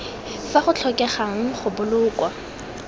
fa go tlhokegang go boloka